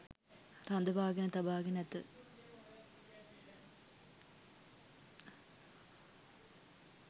රඳවාගෙන තබාගෙන ඇත.